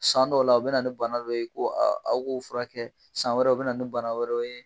San dɔw la u bɛ na ni bana dɔ ye ko aw k'o furakɛ san wɛrɛ u bɛ na ni bana wɛrɛ ye